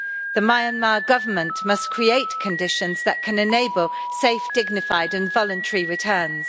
The Myanmar Government must create conditions that can enable safe, dignified and voluntary returns.